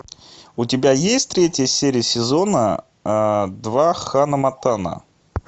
у тебя есть третья серия сезона два ханна монтана